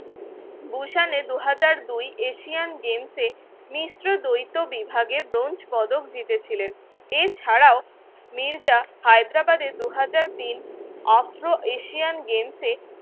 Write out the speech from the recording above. দু হাজার দুই Asian games মিশ্র দ্বৈত বিভাগে ব্রোঞ্জ পদক জিতে ছিলেন এছাড়াও মির্জা হায়দ্রাবাদের দু হাজার তিন Afro Asian games